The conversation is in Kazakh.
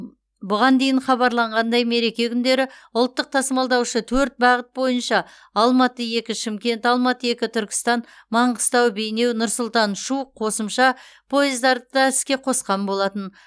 бұған дейін хабарланғандай мереке күндері ұлттық тасымалдаушы төрт бағыт бойынша алматы екі шымкент алматы екі түркістан маңғыстау бейнеу нұр сұлтан шу қосымша пойыздарды іске қосқан болатын